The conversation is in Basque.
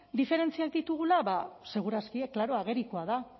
diferentziak ditugula ba seguraski klaro agerikoa da